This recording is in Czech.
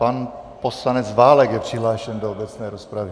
Pan poslanec Válek je přihlášen do obecné rozpravy.